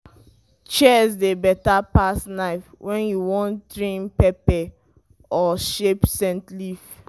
shears dey better pass knife when you wan trim pepper or shape scent leaf.